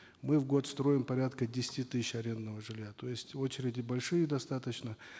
мы в год строим порядка десяти тысяч арендного жилья то есть очереди большие достаточно